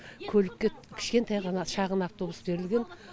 көлікке кішкентай ғана шағын автобус берілген